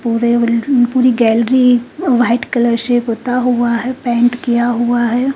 पूरे बिल्ड उँ पूरी गैलरी व्हाइट कलर से पोता हुआ है पेंट किया हुआ है।